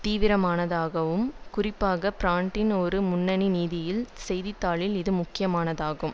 தீவிரமானதாகும் குறிப்பாக பிரிட்டனின் ஒரு முன்னனி நிதியியல் செய்தி தாளில் இது முக்கியமானதாகும்